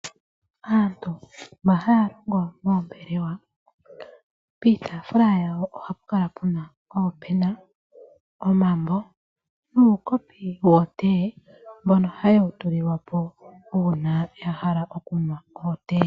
Aantu mba haa longo moombelewa piitafula yawo oha pu kala puna oopena, omambo nuukopi wotee. Mbono haye wu tulilwapo una ya hala oku nwa ootee.